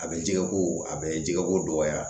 A bɛ jɛgɛko a bɛ jɛgɛko dɔgɔya